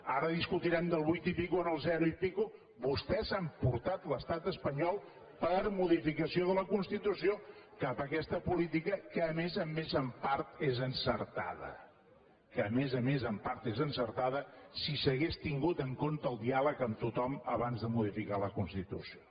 ara discutirem del vuit i escaig en el zero i escaig vostès han portat l’estat espanyol per modificació de la constitució cap a aquesta política que a més a més en part és encertada que a més a més en part és encertada si s’hagués tingut en compte el diàleg amb tothom abans de modificar la constitució